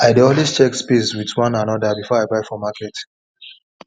i dey always dey check spade with one another before i buy for market